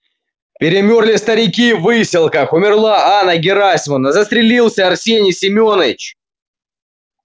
перемёрли старики в выселках умерла анна герасимовна застрелился арсений семёныч